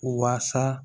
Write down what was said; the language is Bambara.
Waasa